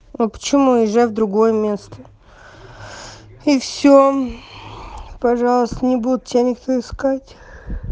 а почему езжай в другое место и все пожалуйста не будет тебя никто искать